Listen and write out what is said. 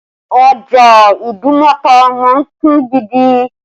Ọjà Idumota máa ń kún gidi